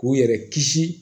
K'u yɛrɛ kisi